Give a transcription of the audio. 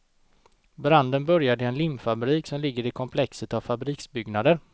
Branden började i en limfabrik som ligger i komplexet av fabriksbyggnader.